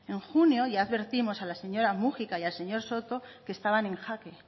en junio ya advertimos a la señora múgica y al señor soto que estaban en jaque